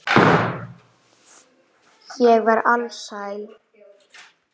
Ég var alsæl.